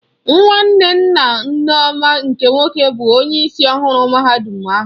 Nwanne nna Nneoma nke nwoke bụ onyeisi ọhụrụ mahadum ahụ.